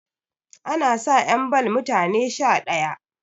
ana sa 'yan ball mutane Sha ɗaya